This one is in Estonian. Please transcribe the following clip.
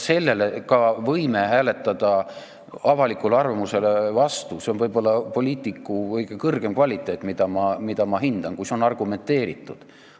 Me võime hääletada avalikule arvamusele vastu, see on võib-olla poliitiku kõige kõrgem kvaliteet, mida ma hindan, kui see on argumenteeritud.